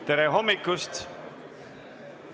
Tere hommikust!